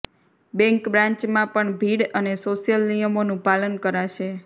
bank બ્રાન્ચમાં પણ ભીડ અને સોશ્યલ નિયમોનું પાલન કરાશે